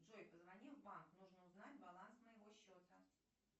джой позвони в банк нужно узнать баланс моего счета